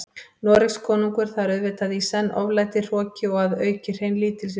Noregskonungur, það er auðvitað í senn oflæti, hroki og að auki hrein lítilsvirðing.